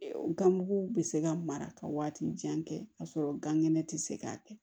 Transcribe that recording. Ganmugu bɛ se ka mara ka waati jan kɛ k'a sɔrɔ gan kɛnɛ tɛ se k'a kɛ